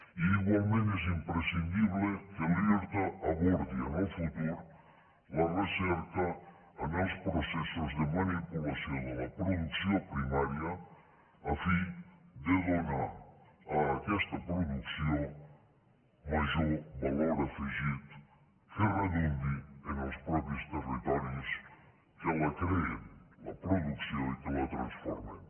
i igualment és imprescindible que l’irta abordi en el futur la recerca en els processos de manipulació de la producció primària a fi de donar a aquesta producció major valor afegit que redundi en els mateixos territoris que la creen la producció i que la transformen